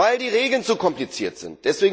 Weil die Regeln zu kompliziert sind.